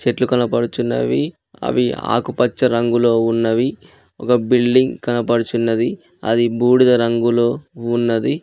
చెట్లు కనపడుచున్నవి అవి ఆకుపచ్చ రంగులో ఉన్నవి ఒక బిల్డింగ్ కనబడుచున్నది అది బూడిద రంగులో ఉన్నది.